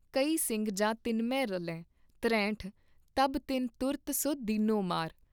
ਕਈ ਸਿੰਘ ਜਾ ਤਿਨਮੇਂ ਰਲੇ ॥ਤਰੇਹਟ॥ ਤਬ ਤਿਨ ਤੁਰਤ ਸੁ ਦੀਨੋ ਮਾਰ